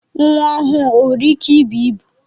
Nwa ọhụụ o nwere ike ịbụ ịbụ?